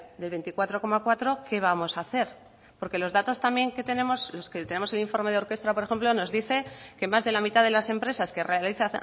del veinticuatro coma cuatro qué vamos a hacer porque los datos también que tenemos los que tenemos en el informe de orkestra por ejemplo nos dice que más de la mitad de las empresas que realiza